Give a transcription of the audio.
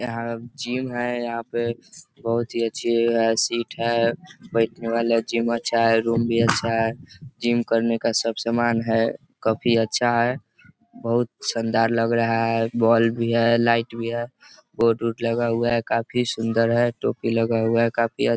यहां एक जिम है यहाँ पे बोहोत अच्छी सीट है बैठने वाला जिम अच्छा है रूम भी अच्छा है | जिम करने का सब सामान है काफी अच्छा है बोहोत सुन्दर लग रहा है बोल भी है लाइट भी है कोट ओट लगा हुआ है काफी सुन्दर है टोपी लगा हुआ है काफी अच्